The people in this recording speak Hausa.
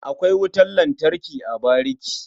Akwai wutan lantarki a bariki.